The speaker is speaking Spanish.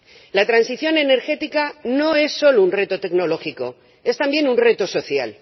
La transición energética no es solo un reto tecnológico, es también un reto social.